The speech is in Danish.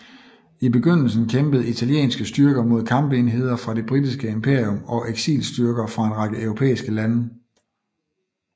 I begyndelsen kæmpede italienske styrker mod kampenheder fra det britiske imperium og eksilstyrker fra en række europæiske lande